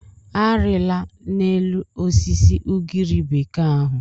Arịla n'elu osisi ugiri bekee ahụ.